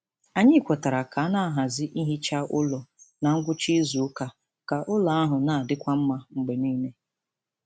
Anyị kwetara ka a na-ahazi ihicha ụlọ na ngwụcha izu ụka ka ụlọ ahụ na-adịkwa mma mgbe niile.